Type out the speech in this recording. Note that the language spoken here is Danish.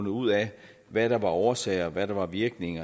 ud af hvad der var årsag og hvad der var virkning